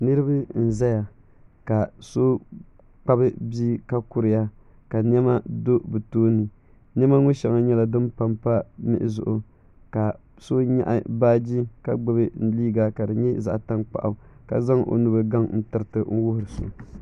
Niriba n zaya ka so kpabi bia ka kuriya ka niɛma do bɛ tooni niɛma sheŋa nyɛla din pampa mihi zuɣu ka so nyaɣi baaji ka gbibi liiga ka di nyɛ zaɣa tankpaɣu ka zaŋ o nubili gaŋ n tiriti n wuhiri so.